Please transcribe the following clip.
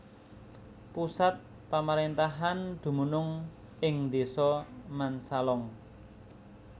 Pusat pamaréntahan dumunung ing Désa Mansalong